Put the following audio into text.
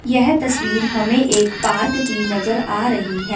यह तस्वीर हमें एक पार्क की नजर आ रही है।